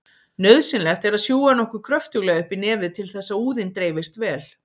Nauðsynlegt er að sjúga nokkuð kröftulega upp í nefið til þess að úðinn dreifist vel.